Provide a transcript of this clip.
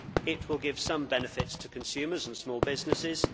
It will give some benefits to consumers and small businesses.